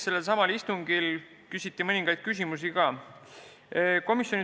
Sellelsamal istungil küsiti ka mõningaid küsimusi.